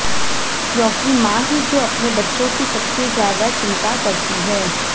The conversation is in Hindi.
क्योंकि मां ही जो अपने बच्चों की सबसे ज्यादा चिंता करती है